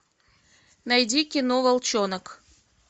найди кино волчонок